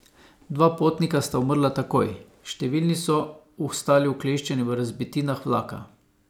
Dva potnika sta umrla takoj, številni so ostali ukleščeni v razbitinah vlaka.